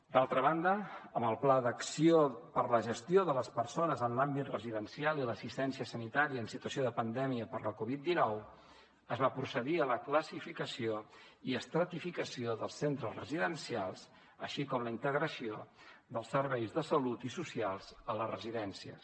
d’altra banda amb el pla d’acció per a la gestió de les persones en l’àmbit residencial i l’assistència sanitària en situació de pandèmia per la covid dinou es va procedir a la classificació i estratificació dels centres residencials així com a la integració dels serveis de salut i socials a les residències